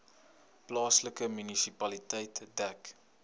plaaslike munisipaliteit dek